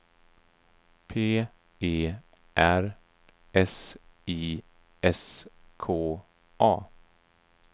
P E R S I S K A